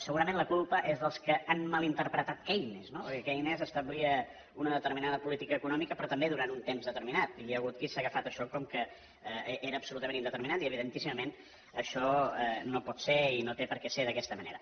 segurament la culpa és dels que han mal interpretat keynes no perquè keynes establia una determinada política econòmica però també durant un temps determinat i hi hagut qui s’ha agafat això com que era absolutament indeterminat i evidentíssimament això no pot ser i no té per què ser d’aquesta manera